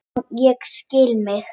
En ég stilli mig.